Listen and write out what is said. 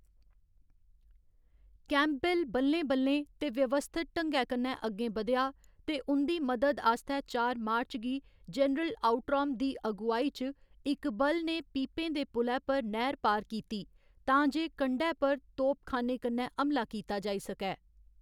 Campbell बल्लें बल्लें ते व्यवस्थित ढंगै कन्नै अग्गें बधेआ, ते उं'दी मदद आस्तै चार मार्च गी जनरल आउट्राम दी अगुआई च इक बल ने पीपें दे पुलै पर नैह्‌र पार कीती तां जे कंढै पर तोपखाने कन्ने हमला कीता जाई सकै।